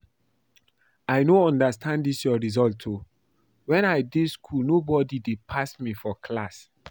I no understand dis your result oo. Wen I dey school nobody dey pass me for class